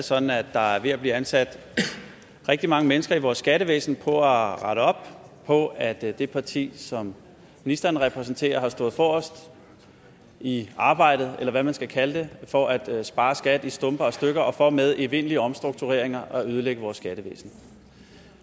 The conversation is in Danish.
sådan at der er ved at blive ansat rigtig mange mennesker i vores skattevæsen for at rette op på at det parti som ministeren repræsenterer har stået forrest i arbejdet eller hvad man skal kalde det for at spare skattevæsenet og stykker og for med evindelige omstruktureringer at ødelægge vores skattevæsen